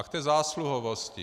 A k té zásluhovosti.